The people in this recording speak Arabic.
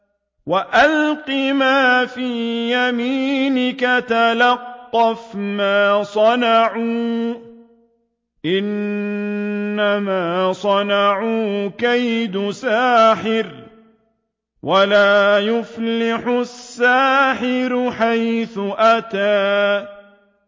وَأَلْقِ مَا فِي يَمِينِكَ تَلْقَفْ مَا صَنَعُوا ۖ إِنَّمَا صَنَعُوا كَيْدُ سَاحِرٍ ۖ وَلَا يُفْلِحُ السَّاحِرُ حَيْثُ أَتَىٰ